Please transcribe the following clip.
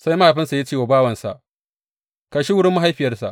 Sai mahaifinsa ya ce wa bawansa, Kai shi wurin mahaifiyarsa.